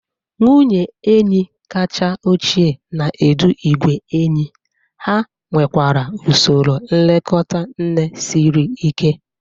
Nwunye enyi kacha ochie na-edu igwe enyí, ha nwekwara usoro nlekọta nne siri ike.